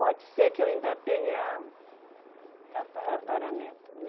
Pode ser que eu ainda tenha Tatara tataraneto, né?